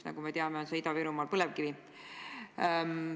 Nagu me teame, on see Ida-Virumaal põlevkivi.